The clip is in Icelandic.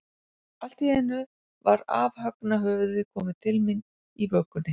Allt í einu var afhöggna höfuðið komið til mín, í vökunni.